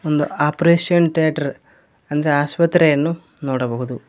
ಒಂದು operation theatre ಅಂದ್ರೆ ಆಸ್ಪತ್ರೆಯನ್ನು ನೋಡಬಹುದು.